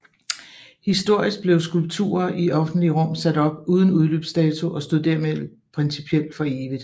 Historisk blev skulpturer i offentlige rum sat op uden udløbsdato og stod dermed principielt for evigt